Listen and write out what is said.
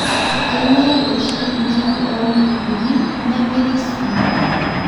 kenyiai oshi inkiri oo lukunguni nemiri sii